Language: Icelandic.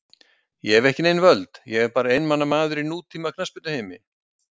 Ég hef ekki nein völd, ég er bara einmana maður í nútíma knattspyrnuheimi.